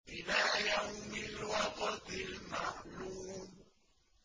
إِلَىٰ يَوْمِ الْوَقْتِ الْمَعْلُومِ